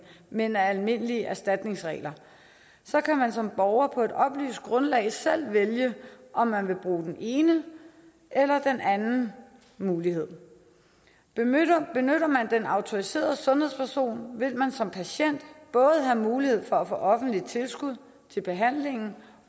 men af almindelige erstatningsregler så kan man som borger på et oplyst grundlag selv vælge om man vil bruge den ene eller den anden mulighed benytter man den autoriserede sundhedsperson vil man som patient både have mulighed for at få offentligt tilskud til behandlingen